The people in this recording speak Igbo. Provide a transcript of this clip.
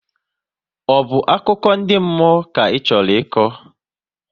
Ọ bụ akụkọ ndị mmụọ ka Ị chọrọ ịkọ?